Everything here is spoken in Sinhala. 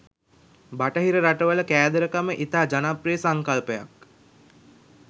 බටහිර රටවල කෑදරකම ඉතා ජනප්‍රිය සංකල්පයක්.